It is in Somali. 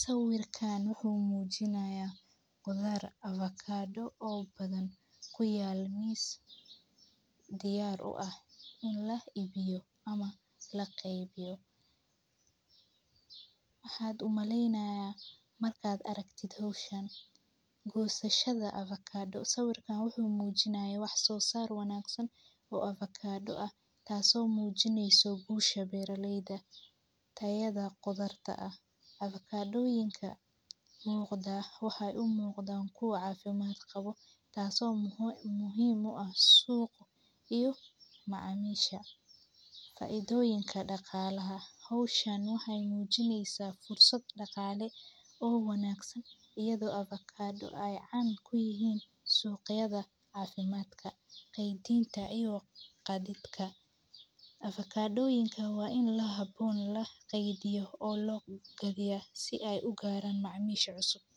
Sawirka wuxuu muujinayaa qudar avocado oo badan ku yaal miis diyaar u ah in la ibiyo ama la kaybiyo. waxad u malaynaya markaad aragti hawshaan. Go'sashada avocado. Sawirka wuxuu muujinayaa wax soo saar waanaagsan oo avocado ah, taaso muujineyso guusha beeraleyda, tayada qodarta ah, avocado yinka muuqdaa, waxay u muuqdan kuu caafimaad qabo, taasoo muhiim u ah suuq iyo macaamiisha. Faa'iidooyinka dhaqaalaha: Hawshaan waxay muujinaysaa fursad dhaqaale oo wanaagsan. Iyadoo avocado ay caan ku yihiin suuqyada caafimaadka, qeybiinta iyo qaddidka. avocado yinka waa in la habboon la qadiyo oo loo gadiyo si ay u gaaraan macaamiish cusub.